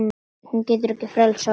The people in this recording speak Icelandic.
Hún getur frelsað okkur.